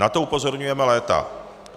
Na to upozorňujeme léta.